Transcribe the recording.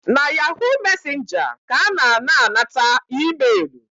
Na ‘yahoo messenger’ ka a na ana-anata emailu